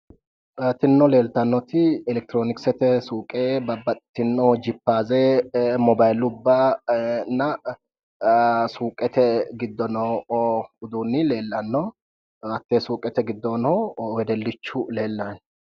tinino leeltannoti elekitiroonisete suuqe babbaxxitinno jippaaze mobayiilubbanna suuqete giddo noo uduunni leellanno hattee suuqete giddono wedellichu leellanno